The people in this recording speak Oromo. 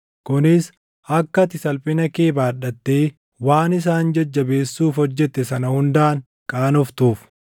kunis akka ati salphina kee baadhattee waan isaan jajjabeessuuf hojjette sana hundaan qaanoftuuf.